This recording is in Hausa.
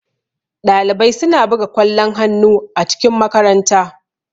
Ɗalibai suna buga kwallon hannu a cikin makaranta.